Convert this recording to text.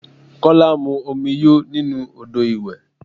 Kola mu omi yóò nínú ọ́dọ̀ ìwẹ̀.